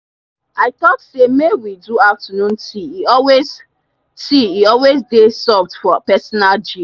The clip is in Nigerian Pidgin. i talk say may we do afternoon tea e always tea e always dey soft for personal gist.